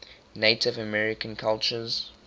native american cultures